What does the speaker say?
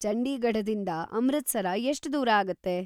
ಚಂಡೀಗಢದಿಂದ ಅಮೃತಸರ ಎಷ್ಟ್‌ ದೂರ ಆಗತ್ತೆ?